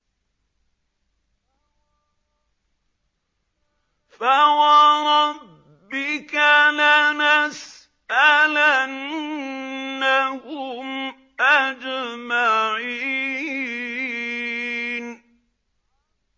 فَوَرَبِّكَ لَنَسْأَلَنَّهُمْ أَجْمَعِينَ